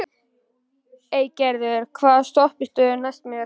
Eygerður, hvaða stoppistöð er næst mér?